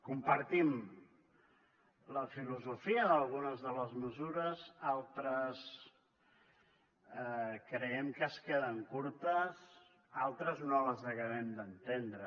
compartim la filosofia d’algunes de les mesures altres creiem que es queden curtes altres no les acabem d’entendre